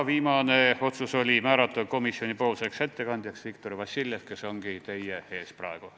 Viimane otsus oli määrata komisjoni ettekandjaks Viktor Vassiljev, kes ongi teie ees praegu.